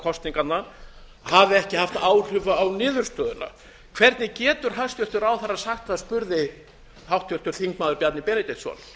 kosninganna hafi ekki haft áhrif á niðurstöðuna hvernig getur hæstvirtur ráðherra sagt það spurði háttvirtur þingmaður bjarni benediktsson